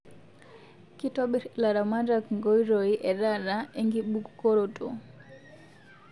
Kitobir ilaramatak Nkoitoii e taata enkibukoroto